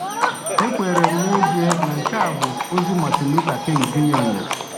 Ekwenyere m n’ezie na nke a bụ ozi Martin Luther King Jr. nyere.